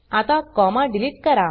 आता comma delete करा